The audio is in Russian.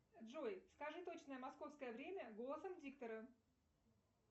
джой скажи точное московское время голосом диктора